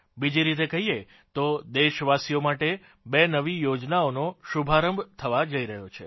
બીજી રીતે કહીએ તો દેશવાસીઓ માટે બે નવી યોજનાઓનો શુભારંભ થવા જઇ રહ્યો છે